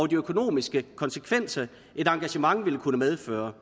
de økonomiske konsekvenser et engagement ville kunne medføre